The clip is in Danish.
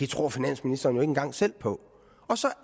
tror finansministeren jo ikke engang selv på og så